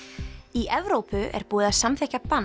í Evrópu er búið að samþykkja bann